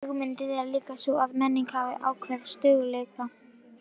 Hugmyndin er líka sú að menning hafi ákveðinn stöðugleika.